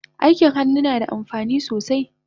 Aikin hannu nada amfani sosai